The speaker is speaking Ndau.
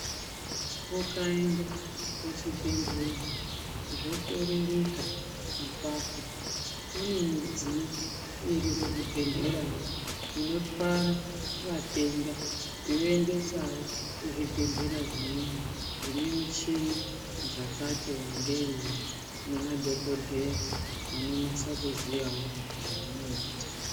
Ukaenda kuchibhehlera zvokororeka apapo kune midziyo iri kuzvibhehleyayo inotwara vatenda yoendesawo kuzvibhehleya zvimweni dzinemichini dzakati wandewo nemadhokodheya anonase kuziye zvaanoita.